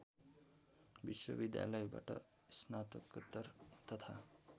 विश्वविद्यालयबाट स्नातकोत्तर तथा